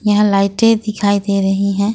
यहां लाइटे दिखाई दे रही हैं।